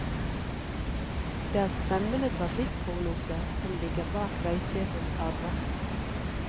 Det er skremmende trafikkprognoser som ligger bak veisjefens advarsler.